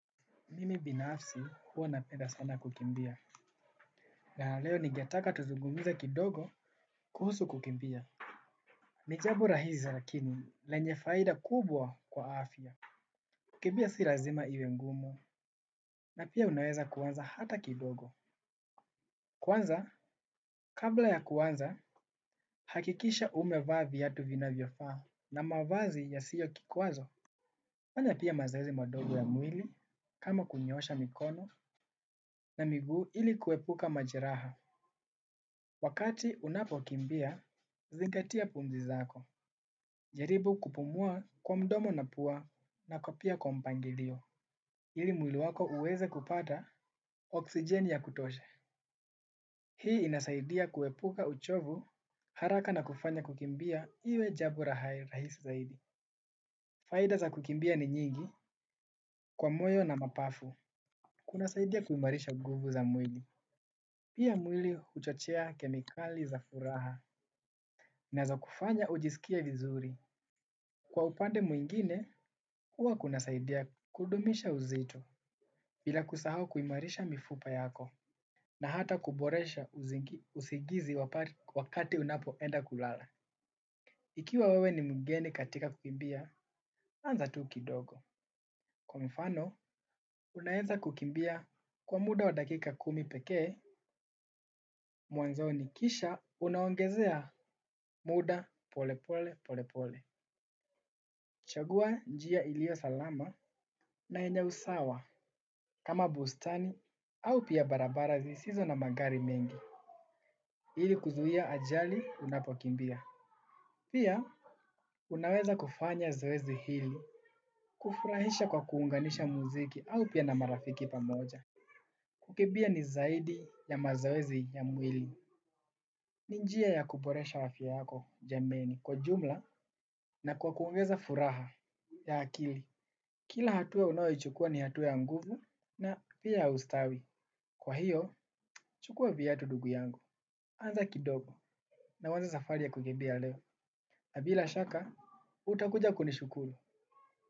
Mimi binafsi huwa napeda sana kukimbia. Na leo ningetaka tuzungumze kidogo, kuhusu kukimbia. Ni jambo rahisi lakini lenye faida kubwa kwa afya. Kukimbia si lazima iwe ngumu, na pia unaweza kuanza hata kidogo. Kwanza, kabla ya kuanza, hakikisha umevaa viatu vinavyofaa na mavazi yasiyo kikwazo. Fanya pia mazoezi madogo ya mwili, kama kunyoosha mikono na miguu ili kuepuka majeraha. Wakati unapokimbia, zingatia pumzi zako. Jaribu kupumua kwa mdomo na pua na pia kwa mpangilio. Ili mwili wako uweze kupata oksijeni ya kutosha. Hii inasaidia kuepuka uchovu haraka na kufanya kukimbia iwe jambo rahisi zaidi. Faida za kukimbia ni nyingi kwa moyo na mapafu. Kunasaidia kuhimarisha nguvu za mwili. Pia mwili huchochea kemikali za furaha na za kufanya ujisikie vizuri. Kwa upande mwingine, huwa kunasaidia kudumisha uzito, bila kusahau kuhimarisha mifupa yako, na hata kuboresha usigizi wakati unapoenda kulala. Ikiwa wewe ni mgeni katika kukimbia, anza tu kidogo. Kwa mfano, unaeza kukimbia kwa muda wa dakika kumi pekee, mwanzoni kisha, unaongezea muda pole pole pole pole. Chagua njia ilio salama na yenye usawa kama bustani au pia barabara zisizo na magari mengi. Ili kuzuia ajali unapokimbia. Pia, unaweza kufanya zoezi hili kufurahisha kwa kuunganisha muziki au pia na marafiki pamoja. Kukimbia ni zaidi ya mazoezi ya mwili. Ni njia ya kuboresha afya yako jameni. Kwa jumla, na kwa kuongeza furaha ya akili. Kila hatua ya unayoichukua ni hatua ya nguvu, na pia ya ustawi. Kwa hiyo, chukua viatu ndugu yangu. Anza kidogo na uanze safari ya kukimbia leo. Na bila shaka, utakuja kunishukuru.